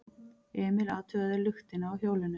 Emil athugaði luktina á hjólinu.